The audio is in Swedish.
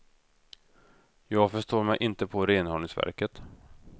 Jag förstår mig inte på renhållningsverket.